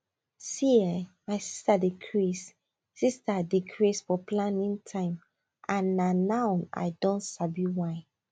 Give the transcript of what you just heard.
see[um]my sister dey craze sister dey craze for planning time and na now i don sabi why